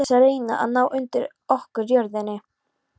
Til þess að reyna að ná undir okkur jörðinni?